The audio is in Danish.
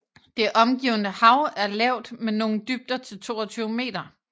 Det omgivende hav er lavt med nogle dybder til 22 meter